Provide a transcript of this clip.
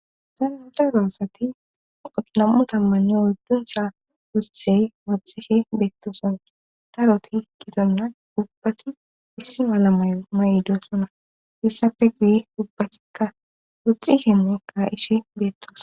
dandaroossati oxolammu tammanni woddunsa wothey woxxikhe beettoson daroti gidonna ubbati issi malamayo ma7idosona issappe guye ubbatikka woxxisenne ka7ishe beettos